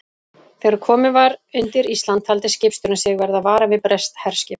Þegar komið var undir Ísland, taldi skipstjórinn sig verða varan við breskt herskip.